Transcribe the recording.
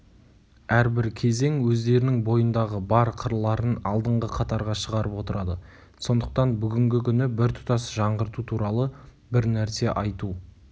әрбір кезең өздерінің бойындағы бар қырларын алдыңғы қатарға шығарып отырады сондықтан бүгінгі күні біртұтас жаңғырту туралы бір нәрсе айту